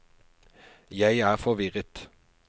jeg er forvirret